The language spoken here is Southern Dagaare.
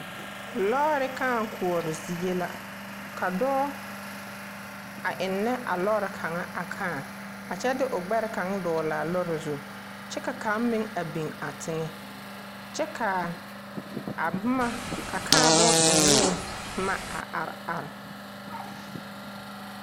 Lɔɔre kaa koɔre zie la ka dɔɔ a eŋnɛ a lɔɔre kaŋa a kaa a kyɛ de o gbɛre kaŋa doglaa lɔɔre zu kyɛ ka kaŋ meŋ a beŋ a teŋɛ kyɛ kaa boma a kaa bon ennee boma a are are.